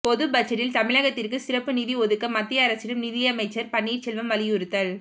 பொதுபட்ஜெட்டில் தமிழகத்திற்கு சிறப்பு நிதி ஒதுக்க மத்திய அரசிடம் நிதியமைச்சர் பன்னீர்செல்வம் வலியுறுத்தல்